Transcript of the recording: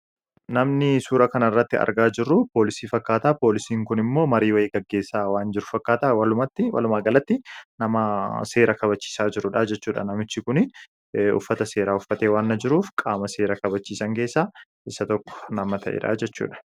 Namni suuraa kanarratti argaa jirru Poolisii fakkaata. Poolisiin immoo marii wayii gaggeessaa waan jiru fakkaata. Walumaa galatti namaa seera kabachiisaa jirudha, uffata seeraa uffatee waan jiruuf nama seera kabachiisaa jirudha jechuudha.